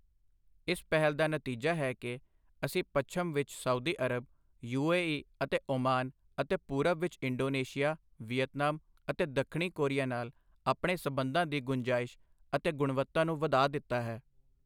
ਇਸ ਪਹਿਲ ਦਾ ਨਤੀਜਾ ਹੈ ਕਿ ਅਸੀਂ ਪੱਛਮ ਵਿਚ Saudi Arab, U A E ਅਤੇ ਓਮਾਨ ਅਤੇ ਪੂਰਬ ਵਿਚ ਇੰਡੋਨੇਸ਼ੀਆ, ਵਿਯਤਨਾਮ ਅਤੇ ਦੱਖਣੀ ਕੋਰੀਆ ਨਾਲ ਆਪਣੇ ਸੰਬੰਧਾਂ ਦੀ ਗੁੰਜਾਇਸ਼ ਅਤੇ ਗੁਣਵਤਾ ਨੂੰ ਵਧਾ ਦਿੱਤਾ ਹੈ।